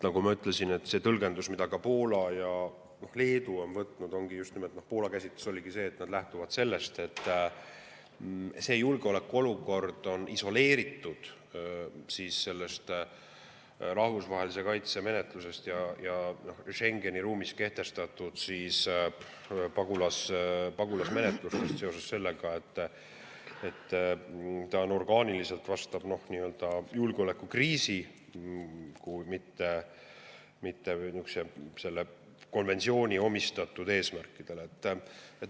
Nagu ma ütlesin, see tõlgendus, millest ka Poola ja Leedu, Poola käsitus ongi see, et nad lähtuvad sellest, et see julgeolekuolukord on isoleeritud rahvusvahelise kaitse menetlusest ja Schengeni ruumis kehtestatud pagulasmenetlustest seoses sellega, et see orgaaniliselt vastab julgeolekukriisi, mitte selle konventsiooni eesmärkidele.